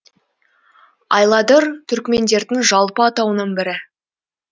айладыр түркмендердің жалпы атауының бірі